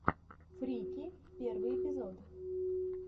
фрики первый эпизод